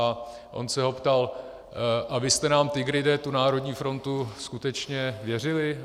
A on se ho ptal: A vy jste nám, Tigride, tu Národní frontu skutečně věřili?